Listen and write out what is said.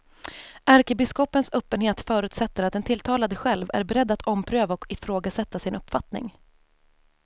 Ärkebiskopens öppenhet förutsätter att den tilltalade själv är beredd att ompröva och ifrågasätta sin uppfattning.